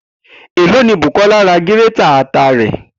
Eló ni Bùkó̩là ra gírétà ata rè